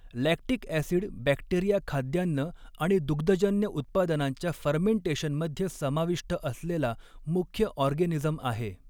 Lactic acid bacteria खाद्यान्न आणि दुग्धजन्य उत्पादनांच्या फर्मेंटेशनमध्ये समाविष्ट असलेला मुख्य ऑर्गेनिझम आहे.